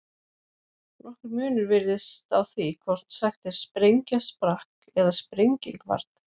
Nokkur munur virðist á því hvort sagt er sprengja sprakk eða sprenging varð.